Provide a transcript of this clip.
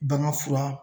Bagan fura